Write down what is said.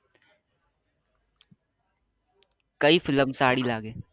કઈ ફિલ્મ સારી લાગે